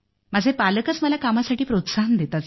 माझे पालकच मला कामासाठी प्रोत्साहन देतात